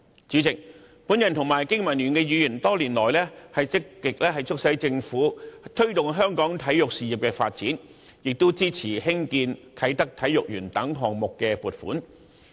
主席，我及經民聯的議員多年來積極促使政府推動香港體育事業發展，亦支持興建啟德體育園等項目的撥款。